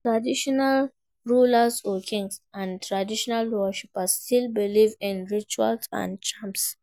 Traditional rulers or kings and traditional worshippers still believe in rituals and charm